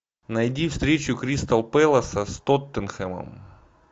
найди встречу кристал пэласа с тоттенхэмом